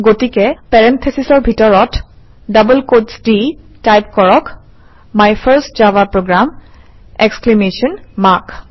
গতিকে parentheses in double quotes -ৰ ভিতৰত টাইপ কৰক - my first Java program exclamation mark